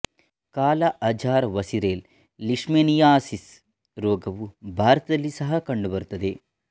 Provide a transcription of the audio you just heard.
ಕಾಲಾ azar visceral leishmaniasis ರೋಗವು ಭಾರತದಲ್ಲಿ ಸಹಾ ಕಂಡುಬರುತ್ತದೆ